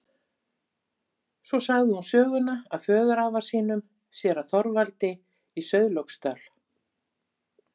Svo sagði hún söguna af föðurafa sínum, séra Þorvaldi í Sauðlauksdal.